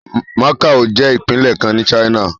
Macao jẹ́ ìpínlẹ̀ kan ní China.